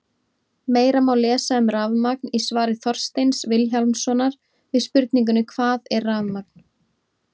Meira má lesa um rafmagn í svari Þorsteins Vilhjálmssonar við spurningunni Hvað er rafmagn?